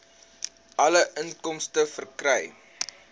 alle inkomste verkry